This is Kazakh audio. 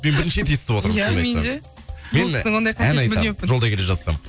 мен бірінші рет естіп отырмын шынымды айтсам мен ән айтамын жолда келе жатсам